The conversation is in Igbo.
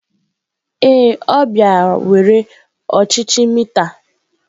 Ee, ọ bịara were ọchịchị mita.